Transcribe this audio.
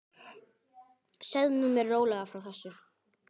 Segðu mér nú rólega frá þessu.